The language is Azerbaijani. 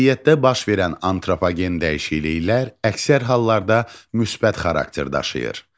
Təbiətdə baş verən antropogen dəyişikliklər əksər hallarda müsbət xarakter daşıyır.